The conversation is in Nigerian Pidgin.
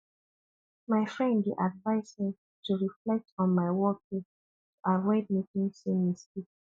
my friend dey advise me to reflect on my workday to avoid making same mistake